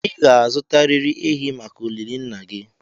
ị ga-azụtarịrị ehi maka olili nna gị